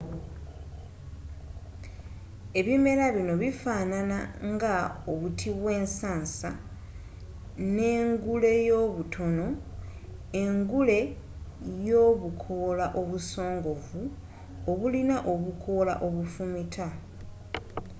ebimera bino bifanana nga obuti bwensansa n'enguleobutono n'engule y'obukoola obusongovu obulina obukoola obufumita